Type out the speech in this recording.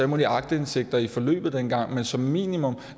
mulige aktindsigter i forløbet dengang men som minimum